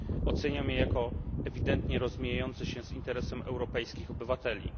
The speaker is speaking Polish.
Oceniam je jako ewidentnie rozmijające się z interesem europejskich obywateli.